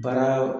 Baara